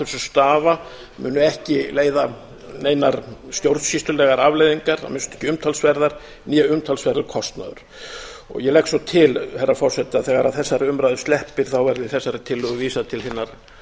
stafa mun ekki leiða neinar stjórnsýslulegar afleiðingar að minnsta kosti ekki umtalsverðar né umtalsverður kostnaður ég legg svo til herra forseti að þegar þessari umræðu sleppir verði þessari tillögu vísað til hinnar